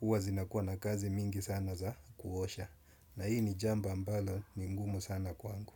huwa zinakuwa na kazi mingi sana za kuosha. Na hii ni jambo ambalo ni ngumu sana kwangu.